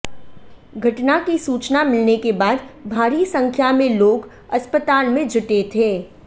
घटना की सूचना मिलने के बाद भारी संख्या में लोग अस्पताल में जुटे थे